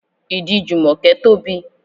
Ìdí Jumoke tóbi.